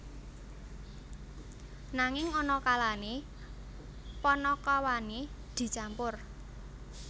Nanging ana kalane panakawane dicampur